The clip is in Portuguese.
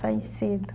Saí cedo.